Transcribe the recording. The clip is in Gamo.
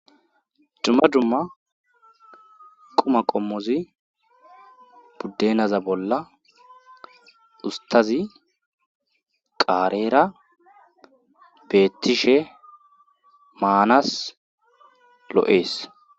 dumma dumma qomo qommozi buddenaza bolla ustazi qaareera beettishe maanas lo7ees